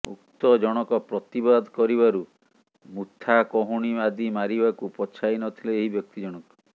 ଭକ୍ତ ଜଣକ ପ୍ରତିବାଦ କରିବାରୁ ମୁଥା କହୁଣି ଆଦି ମାରିବାକୁ ପଛାଇ ନଥିଲେ ଏହି ବ୍ୟକ୍ତି ଜଣକ